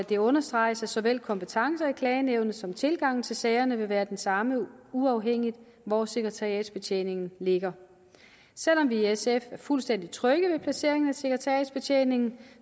det understreges at såvel kompetencerne i klagenævnet som tilgangen til sagerne vil være de samme uafhængigt af hvor sekretariatsbetjeningen ligger selv om vi i sf er fuldstændig trygge ved placeringen af sekretariatsbetjeningen